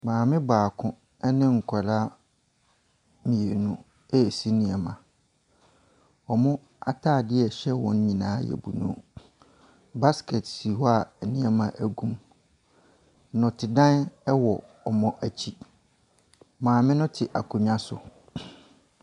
Maame baako ɛne nkwadaa mmienu ɛresi nnoɔma. Wɔn ataadeɛ a ɛhyɛ wɔn nyinaa ɛyɛ blue. Basket si hɔ a nnoɔma egu mu. Nnɔte dan ewɔ wɔn ɛkyi, maame no te akonwa so.